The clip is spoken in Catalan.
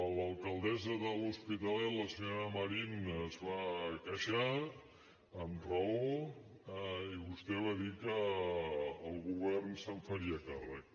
l’alcaldessa de l’hospitalet la senyora marín es va queixar amb raó i vostè va dir que el govern se’n faria càrrec